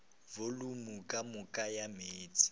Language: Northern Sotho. volumo ka moka ya meetse